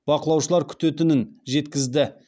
бақылаушылар күтетінін жеткізді